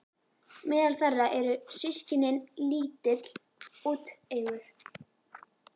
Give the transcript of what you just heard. Meðal þeirra eru systkini- lítill, úteygur